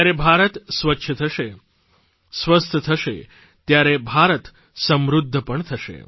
જ્યારે ભારત સ્વચ્છ થશે સ્વસ્થ થશે ત્યારે ભારત સમૃદ્ધ પણ થશે